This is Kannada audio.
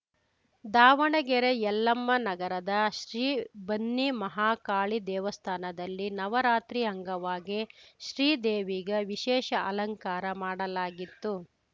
ದಾವಣಗೆರೆ ಯಲ್ಲಮ್ಮನಗರದ ಶ್ರೀ ಬನ್ನಿಮಹಾಕಾಳಿ ದೇವಸ್ಥಾನದಲ್ಲಿ ನವರಾತ್ರಿ ಅಂಗವಾಗಿ ಶ್ರೀ ದೇವಿಗೆ ವಿಶೇಷ ಅಲಂಕಾರ ಮಾಡಲಾಗಿತ್ತು